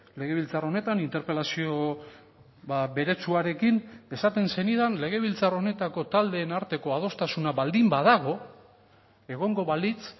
legebiltzar honetan interpelazio beretsuarekin esaten zenidan legebiltzar honetako taldeen arteko adostasuna baldin badago egongo balitz